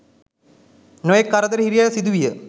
නොයෙක් කරදර හිරිහැර සිදුවිය.